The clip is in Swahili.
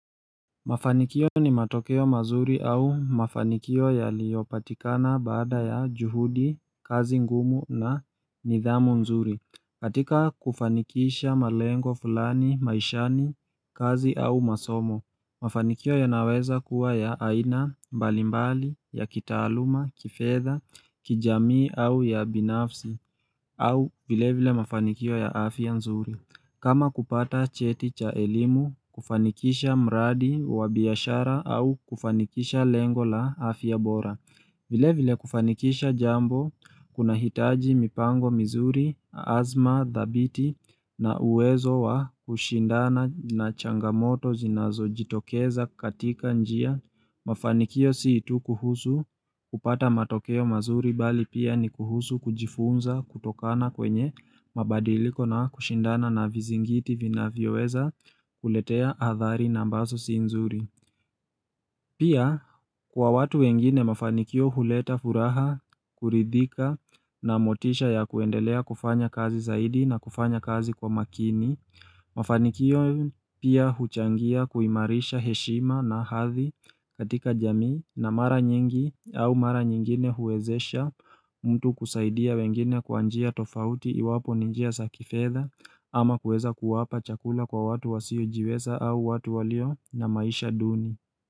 Mafanikio ni matokeo mazuri au mafanikio yaliyopatikana baada ya juhudi, kazi ngumu na nidhamu nzuri katika kufanikisha malengo fulani maishani kazi au masomo Mafanikio yanaweza kuwa ya aina mbali mbali, ya kitaaluma, kifedha, kijamii au ya binafsi au vile vile mafanikio ya afya nzuri kama kupata cheti cha elimu, kufanikisha mradi wa biashara au kufanikisha lengo la afya bora. Vile vile kufanikisha jambo, kuna hitaji mipango mizuri, azma dhabiti na uwezo wa kushindana na changamoto zinazo jitokeza katika njia. Mafanikio si tu kuhusu kupata matokeo mazuri bali pia ni kuhusu kujifunza kutokana kwenye mabadiliko na kushindana na vizingiti vinavyoweza kuletea athari na ambaso si nzuri Pia kwa watu wengine mafanikio huleta furaha, kuridhika na motisha ya kuendelea kufanya kazi zaidi na kufanya kazi kwa makini Mafanikio pia huchangia kuimarisha heshima na hathi katika jamii na mara nyingi au mara nyingine huwezesha mtu kusaidia wengine kwa njia tofauti iwapo ni njia sa kifedha ama kuweza kuwapa chakula kwa watu wasiojiweza au watu walio na maisha duni.